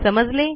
समजले